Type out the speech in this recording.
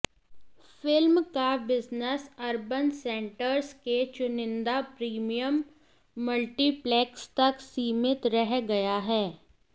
film का business urban centres के चुनिंदा प्रीमियम मल्टिप्लेक्स तक सीमित रह गया है